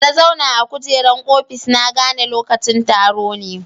Da na zauna a kujeran ofis, na gane lokacin taro ne.